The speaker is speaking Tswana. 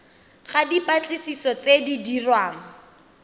ga dipatlisiso tse di dirwang